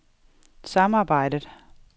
samarbejdet